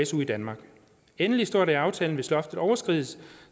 su i danmark endelig står der i aftalen at hvis loftet overskrides